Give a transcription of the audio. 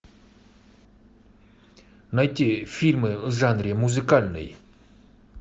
найти фильмы в жанре музыкальный